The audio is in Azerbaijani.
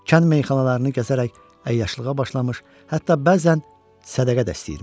Kənd meyxanalarını gəzərək əyyaşlığa başlamış, hətta bəzən sədəqə də istəyirmiş.